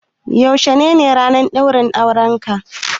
Yaushe ne ranar ɗaurin aurenka?